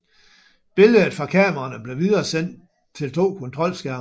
Billedet fra kameraerne blev videresendt til to kontrolskærme